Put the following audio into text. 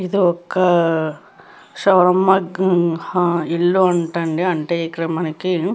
ఇది ఒక్క shawarma grill ఇల్లు అంట అండి అంటే ఇక్కడ మనకి --